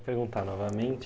Perguntar novamente.